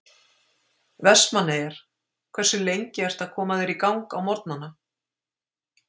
Vestmannaeyjar Hversu lengi ertu að koma þér í gang á morgnanna?